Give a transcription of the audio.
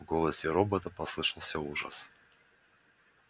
в голосе робота послышался ужас